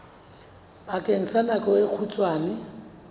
bakeng sa nako e kgutshwane